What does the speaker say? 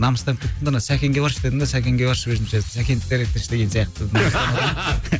намыстанып кеттім де ана сәкенге баршы дедім де сәкенге баршы өзімше сәкенді де реттеші